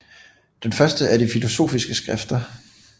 Den første er de filosofiske skrifter